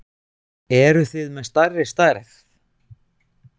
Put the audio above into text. Eruð þið með stærri stærð?